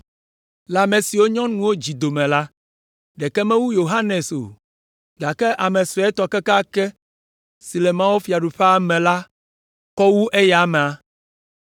Le ame siwo nyɔnuwo dzi dome la, ɖeke mewu Yohanes o; gake ame suetɔ kekeake si le mawufiaɖuƒea me la kɔ wu eya amea!”